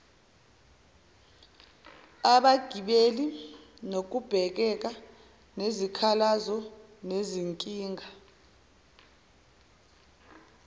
abagibeli nokubhekana nezikhalazonezinkinga